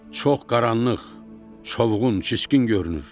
Çox qaranlıq, çovğun, çiskin görünür.